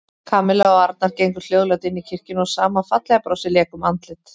Kamilla og Arnar gengu hljóðlát inn í kirkjuna og sama fallega brosið lék um andlit